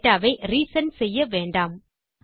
data வை reset செய்ய வேண்டாம்